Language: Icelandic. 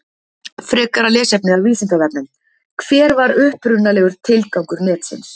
Frekara lesefni af Vísindavefnum: Hver var upprunalegur tilgangur netsins?